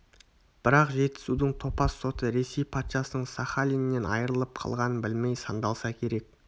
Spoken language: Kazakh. бірақ жетісудың топас соты ресей патшасының сахалиннен айырылып қалғанын білмей сандалса керек